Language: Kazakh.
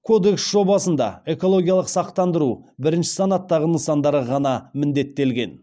кодекс жобасында экологиялық сақтандыру бірінші санаттағы нысандарға ғана міндеттелген